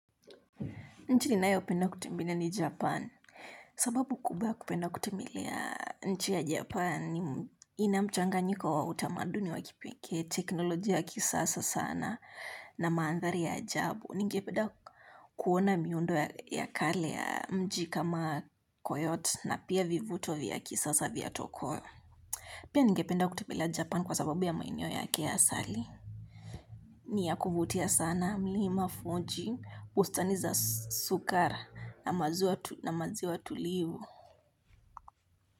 Nchi ninayopenda kutembela ni Japan. Sababu kubwa kupenda kutembelea nchi ya Japan. Inamchanganyiko wa utamaduni wakipekee teknolojia ya kisasa sana na maandhari ya ajabu. Ningependa kuona miundo ya kale ya mji kama koyote na pia vivuto vya kisasa vya tokyo pia ningependa kutembelea japan kwa sababu ya maeneo yake ya asali. Niyakuvutia sana mlima fuji hustaniza sukara na maziwa tulivu.